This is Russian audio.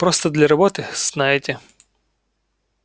просто для работы знаете